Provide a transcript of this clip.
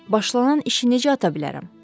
Başlanan işi necə ata bilərəm?